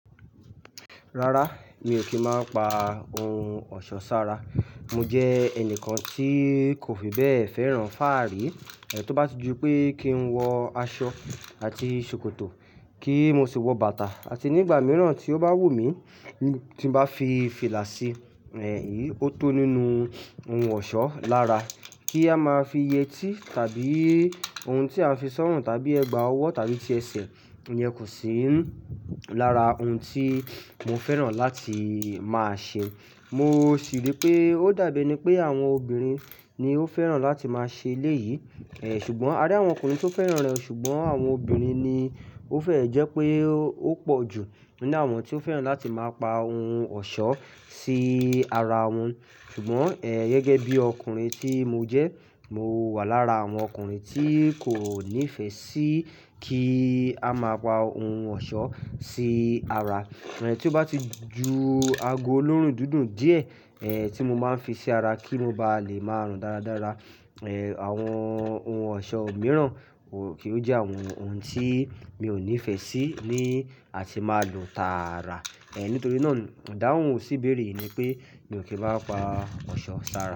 Rárá, mi ò kí máa ń pa ohun ọ̀ṣọ́ sára. Mo jẹ́ ẹnìkan tí kò fi bẹ́ẹ̀ fẹ́ràn fáàrí, tó bá ti ju pé kí n wọ aṣọ àti ṣòkòtò, kí mo sì wọ bàtà àti nígbà mìíràn tí ó bá wù mí tí nbá fi fìlà sí, èyí ó tó nínú ohun ọ̀ṣọ́ lára. Kí a máa fi yẹtí tàbí ohun tí a ń fi sọ́rùn tàbí ẹgba ọwọ́ tàbí ti ẹsẹ̀, ìyẹn kò sí lára ohun tí mo fẹ́ràn láti máa ṣe. Mo sì rí pé ó dàbí ení pé àwọn obìnrin ni ó fẹ́ràn láti máa ṣe elé yìí. Ẹ̀ ṣùgbọ́n a rí àwọn ọkùnrin tó fẹ́ràn rẹ̀ ṣùgbọ́n àwọn obìnrin ni ó fẹ́ ẹ̀ jẹ́ pé ó pọ̀ jù nínú àwọn tí ó fẹ́ràn láti máa pa ohun ọ̀ṣọ́ sí ara wọn. Ṣùgbọ́n è gẹ́gẹ́ bí ọkùnrin tí mo jẹ́, mo wà lára àwọn ọkùnrin tí kò nífẹ̀ẹ́ sí kí a máa pa ohun ọ̀ṣọ́ sí ara. Ẹn tí ó bá ti ju ago olóórùn dúndún díẹ̀, è tí mo máa ń fi sí ara kí mo bá lè máa rùn dáradára, è àwọn ohun ọ̀ṣọ́ mìíràn ko kì ó jẹ́ àwọn ohun tí mi ò nífẹ̀ẹ́ sí ní a tì máa lo tààrà. È nítorí náà, ìdáhùn ò sí béèrè yìí ni pé mi ò kí bá pa ọ̀ṣọ́ sára.